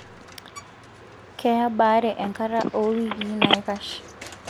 Keya baare enkata oo wikii naikash.